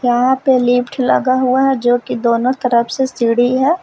यहां पे लिफ्ट लगा हुआ है जो कि दोनों तरफ से सीढ़ी है।